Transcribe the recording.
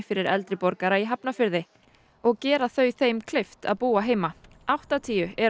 fyrir eldri borgara í Hafnarfirði og gera þau þeim kleift að búa heima áttatíu eru